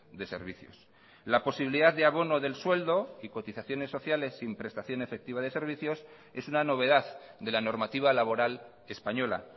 de servicios la posibilidad de abono del sueldo y cotizaciones sociales sin prestación efectiva de servicios es una novedad de la normativa laboral española